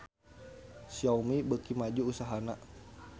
Xiaomi beuki maju usahana